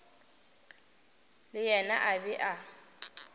le yena a be a